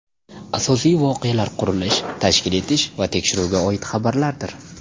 Asosiy voqealar qurilish, tashkil etish va tekshiruvga oid xabarlardir.